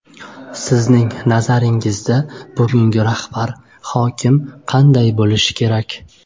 Sizning nazaringizda, bugungi rahbar, hokim qanday bo‘lishi kerak?